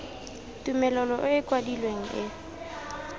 tumelelo e e kwadilweng e